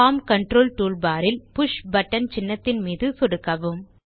form control toolbar இல் push button சின்னத்தின் மீது சொடுக்கவும்